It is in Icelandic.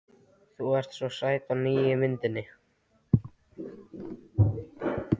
Þú ert svo sæt á nýju myndinni.